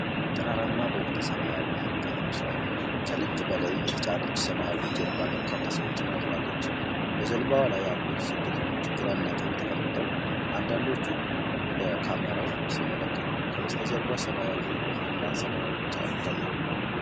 ጠራራማ በሆነ ሰማያዊ ውቅያኖስ ላይ፣ ከልክ በላይ የተጫነች ሰማያዊ ጀልባ በርካታ ሰዎችን አዝላለች። በጀልባዋ ላይ ያሉት ስደተኞች ግራና ቀኝ ተቀምጠው፣ አንዳንዶቹ ወደ ካሜራው ሲመለከቱ፣ ከበስተጀርባ ሰማያዊው ውሀና ሰማይ ብቻ ይታያሉ።